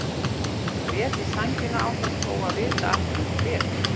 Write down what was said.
Hún grét í sængina án þess þó að vita af hverju hún grét.